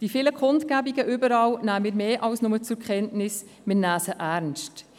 Die vielen Kundgebungen überall, diese nehmen wir mehr als nur zur Kenntnis, wir nehmen sie ernst.